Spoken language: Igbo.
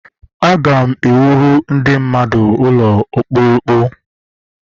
Aga m ewuru ndị mmadụ M ga-ewuru ndị mmadụ ụkpụrụ ụkpụrụ.